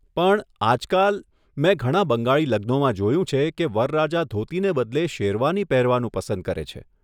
પણ, આજકાલ, મેં ઘણા બંગાળી લગ્નોમાં જોયું છે કે વરરાજા ધોતીને બદલે શેરવાની પહેરવાનું પસંદ કરે છે.